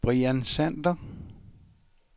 Brian Sander